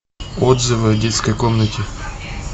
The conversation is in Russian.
отзывы о детской комнате